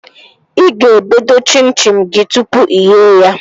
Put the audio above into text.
Ị ga-ebe doo chim chim gị tụpụ ighe ya